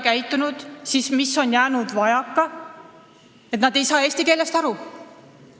Kui ei ole, siis mis on jäänud vajaka, et nad ei saa eesti keelest aru?